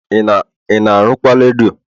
ị na arụkwa redio?